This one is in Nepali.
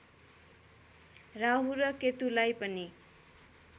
राहु र केतुलाई पनि